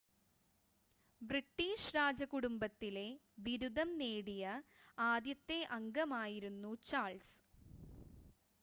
British രാജകുടുംബത്തിലെ ബിരുദം നേടിയ ആദ്യത്തെ അംഗമായിരുന്നു ചാൾസ്